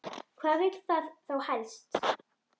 Hvað vill það þá helst?